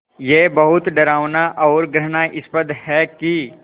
ये बहुत डरावना और घृणास्पद है कि